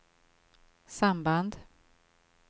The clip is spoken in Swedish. samband